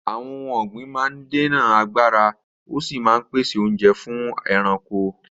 Àwọn ohun ọ̀gbìn máa ń dènà àgbàrá, ó sì máa ń pèsè oúnjẹ fún ẹranko.